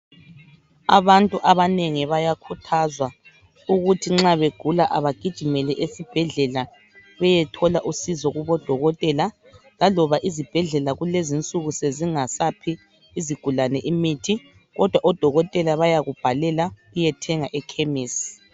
Abantu abanengi bayakhuthazwa ukuthi nxa begula abagijimele esibhedlela beyethola usizo kubodokotela laloba izibhedlela kulezinsuku sezingasaphi imithi, kodwa odokotela bayakubhalela uyethenga ekhemisi.